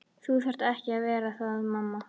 Þú þarft ekki að vera það mamma.